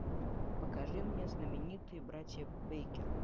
покажи мне знаменитые братья бейкер